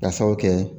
Ka sabu kɛ